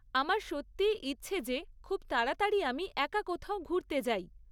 আমার সত্যিই ইচ্ছে যে খুব তাড়াতাড়ি আমি একা কোথাও ঘুরতে যাই।